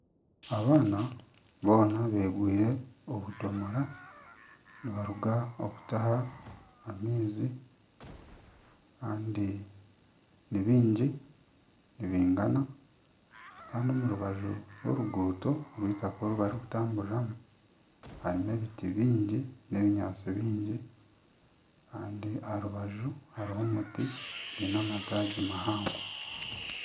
Abaana boona begwire obudomora nibaruga kutaha amaizi Kandi ni biingi nibingana Kandi omu rubaju rw'oruguuto rw'eitaka oru barikutambururamu harimu ebiti biingi n'ebinyaantsi biingi Kandi aha rubaju hariho omuti gwine amataagi mahango.